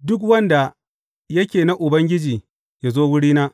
Duk wanda yake na Ubangiji yă zo wurina.